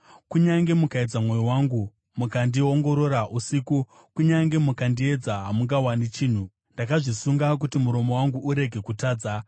Kunyange mukaedza mwoyo wangu uye mukandiongorora usiku, kunyange mukandiedza, hamungawani chinhu; ndakazvisunga kuti muromo wangu urege kutadza.